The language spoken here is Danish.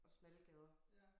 Og smalle gader